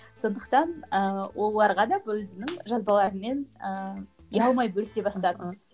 сондықтан ы оларға да өзімнің жазбалаларыммен ыыы ұялмай бөлісе бастадым